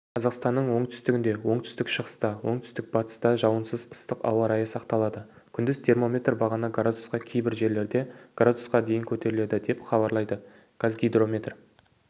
қазақстанның оңтүстігінде оңтүстік-шығыста оңтүстік-батыста жауынсыз ыстық ауа райы сақталады күндіз термометр бағаны градусқа кейбір жерлерде градусқа дейін көтеріледі деп хабарлайды қазгидромет